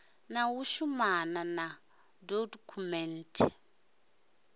na u shumana na dokhumenthe